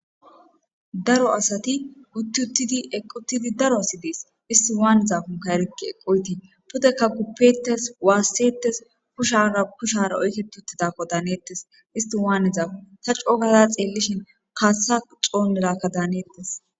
Daro asati uttiuttidi equtidi daro asi dees isti waannizafunka erikki eqqoyti pudekka guppetes waassetes kushara kushara oyke tuttidakko daanettes isti waannizafun ta coogaza xeellishin kaassa coonnerakka daanettes.